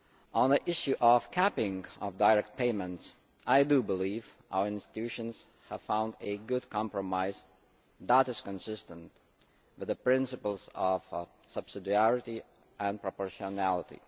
On the issue of the capping of direct payments, I believe our institutions have found a good compromise that is consistent with the principles of subsidiarity and proportionality.